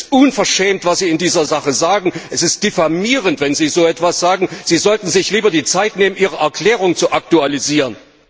Es ist unverschämt, was Sie in dieser Sache sagen! Es ist diffamierend, wenn Sie so etwas sagen! Sie sollten sich lieber die Zeit nehmen, Ihre Erklärung zu aktualisieren!